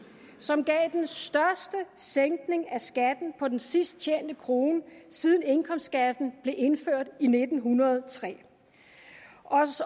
som gav den største sænkning af skatten på den sidst tjente krone siden indkomstskatten blev indført i nitten hundrede og tre